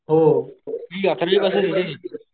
हो